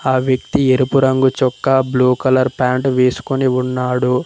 ఆ వ్యక్తి ఎరుపు రంగు చొక్కా బ్లూ కలర్ ప్యాంట్ వేసుకొని ఉన్నాడు.